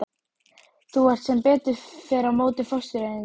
Þú ert sem betur fer á móti fóstureyðingum.